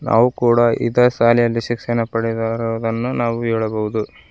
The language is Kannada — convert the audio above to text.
ನಾವು ಕೂಡ ಇದ ಸಾಲೇಯಲ್ಲಿ ಶಿಕ್ಷಣ ಪಡೆದಿರುವುದನ್ನು ನಾವು ಹೇಳಬಹುದು.